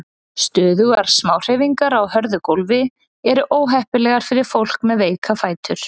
Stöðugar smáhreyfingar á hörðu gófli eru óheppilegar fyrir fólk með veika fætur.